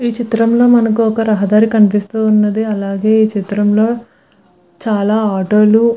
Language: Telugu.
ఈ చిత్రం లో మనకి రహదారి కనిపిస్తు ఉన్నది. అలాగే ఈ చిత్రంలో చాలా ఆటో లు --